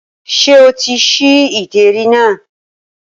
Ṣé o ti ṣí ìdérí náà?